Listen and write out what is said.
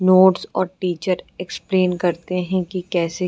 notes और teacher explain करते हैं कि कैसे --